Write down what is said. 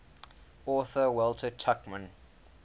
author walter tuchman